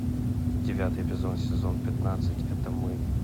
девятый эпизод сезон пятнадцать это мы